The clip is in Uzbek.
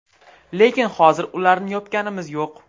Lekin hozir ularni yopganimiz yo‘q.